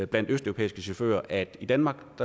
blandt østeuropæiske chauffører at i danmark